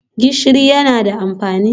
Gishirin yana da amfani?